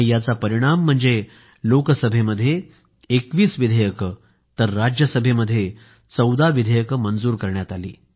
त्याचा परिणाम म्हणजे लोकसभेमध्ये 21 विधेयकं आणि राज्यसभेमध्ये 14 विधेयकं मंजूर करण्यात आली